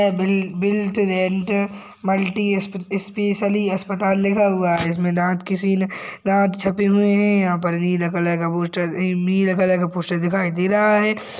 Built built rate multi special अस्पताल लिखा हुआ है इसमें दांत किसीने दांत छपे हुए हैं यहाँ पर नीला कलर का पोस्टर अम नीला कलर का पोस्टर दिख रहा है।